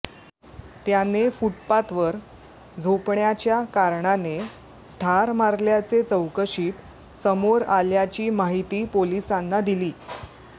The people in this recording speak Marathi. त्याने फुटपाथ वर झोपण्याच्या कारणाने ठार मारल्याचे चौकशीत समोर आल्याची माहिती पोलिसांनी दिली